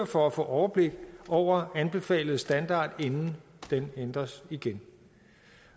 for at få overblik over den anbefalede standard inden den ændres igen